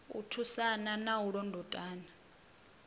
u thusana na u londotana